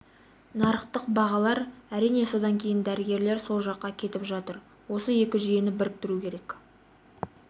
нарықтық бағалар әрине содан кейін дәрігерлер сол жаққа кетіп жатыр осы екі жүйені біріктіру керек